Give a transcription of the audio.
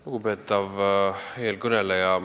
Lugupeetav eelkõneleja!